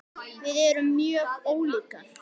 Við erum mjög ólíkar.